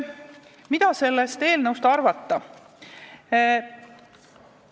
Mida sellest eelnõust arvata?